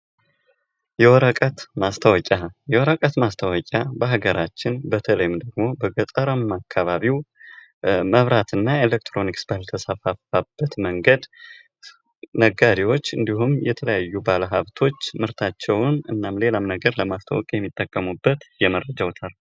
የወረቀት ማስታወቂያ ፦ የወረቀት ማስታወቂያ በሀገራችን በተለይም ደግሞ በገጠርማ አማካባቢው መብራትና ኤሌክትሮኒክስ ባልተስፋፋበት መንገድ ነጋዴዎች እንዲሁም የተለያዩ ባለሃብቶች ምርታቸውን እናም ሌላም ነገር ለማስታወቂያ የሚጠቀሙበት የመረጃ አውታር።